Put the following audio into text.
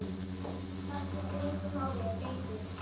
Það skiptir engu máli lengur.